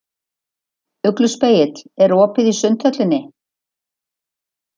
Ugluspegill, er opið í Sundhöllinni?